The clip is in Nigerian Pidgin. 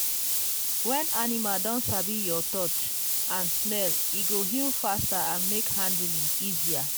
when animal don sabi your touch and smell e go heal faster and make handling easier.